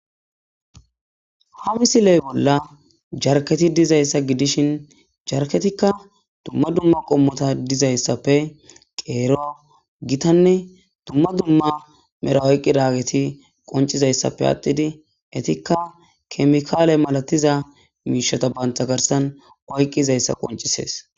Ha misile bolla jarkketi dizayssa gidishin jarkketikka dumma dumma qommota dizayssappe qeeruwa gitanne dumma dumma mera oyqqidaageti qoncizayssappe attidi etikka kemikaale malatiza miishata bantta garsan oyqqizayssa qoncisees.